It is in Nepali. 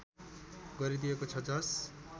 गरिदिएको छ जस